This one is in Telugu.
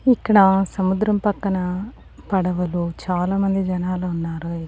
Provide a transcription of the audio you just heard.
ఇక్కడ సముద్రం పక్కన పడవలో చాలామంది జనాలు ఉన్నారు.